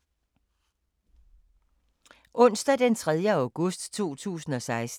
Onsdag d. 3. august 2016